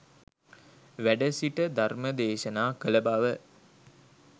වැඩ සිට ධර්මදේශනා කළ බව